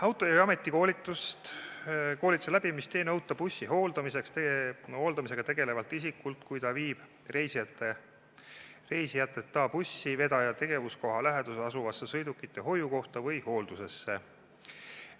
Autojuhi ametikoolituse läbimist ei nõuta bussi hooldamisega tegelevalt isikult, kui ta viib reisijateta bussi vedaja tegevuskoha läheduses asuvasse sõidukite hoiukohta või hooldusesse.